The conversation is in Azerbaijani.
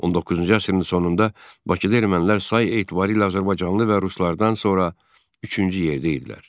19-cu əsrin sonunda Bakıda ermənilər sayı etibarilə azərbaycanlı və ruslardan sonra üçüncü yerdə idilər.